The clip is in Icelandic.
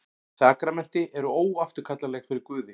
Sakramenti eru óafturkallanleg fyrir Guði.